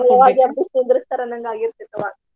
ಯಾವಾಗ ಎಬ್ಬಿಸಿ ನಿಂದರಸ್ತಾರೊ ಅನ್ನೋವಂಗ ಆಗಿರ್ತೆತಿ ಅವಾಗ.